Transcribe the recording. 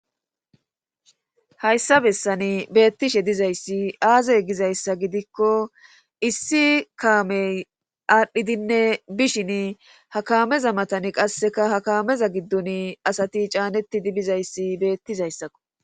hayssa bessani beettishe dizayssi aazey gizayssa gidikko issi kaamey aadhdhidinne bishin ha kameza matani qasseka hakaameza giddon asati caanettidi bizayssi beettizayssakko